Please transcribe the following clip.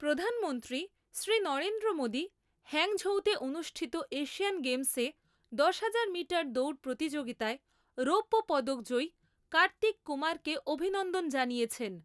প্রধানমন্ত্রী শ্রী নরেন্দ্র মোদী হ্যাংঝৌতে অনুষ্ঠিত এশিয়ান গেমসে দশহাজার মিটার দৌড় প্রতিযোগিতায় রৌপ্য পদক জয়ী কার্তিক কুমারকে অভিনন্দন জানিয়েছেন।